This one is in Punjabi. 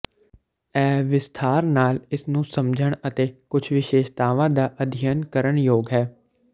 ਇਹ ਵਿਸਥਾਰ ਨਾਲ ਇਸ ਨੂੰ ਸਮਝਣ ਅਤੇ ਕੁੱਝ ਵਿਸ਼ੇਸ਼ਤਾਵਾਂ ਦਾ ਅਧਿਅਨ ਕਰਨ ਯੋਗ ਹੈ